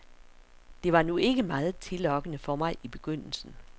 Det var nu ikke meget tillokkende for mig i begyndelsen.